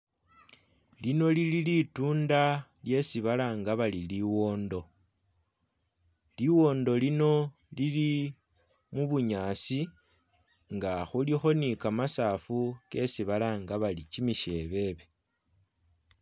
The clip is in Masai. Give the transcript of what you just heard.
Lino lili litunda lyesi balanga bari liwondo. Liwondo lino lili mubunyaasi, nga khulikho ni kamasafu kesi balanga bari kimishebebe